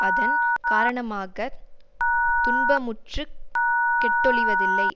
அதன் காரணமாக துன்பமுற்றுக் கெட்டொழிவதில்லை